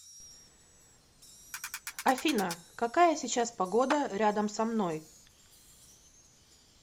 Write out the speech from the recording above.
афина какая сейчас погода рядом со мной